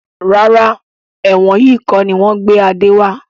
Rárá, ẹ̀wọ̀n yìí kọni wọn gbé Adé wá.